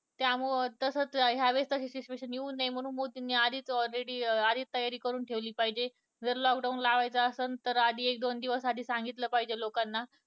त्यामुळं तसंच या वेळी तशी situation येऊ नये म्हणून मोदींनी आधीच ready आधीच तयारी करून ठेवली पाहिजे lock down लावायचं असेल तर एक दोन दिवस आधी सांगितलं पाहिजे लोकांना